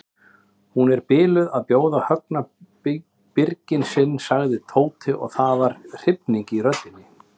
Hún er biluð að bjóða Högna birginn sagði Tóti og það var hrifning í röddinni.